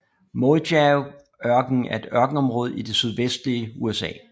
Mojaveørkenen er et ørkenområde i det sydvestlige USA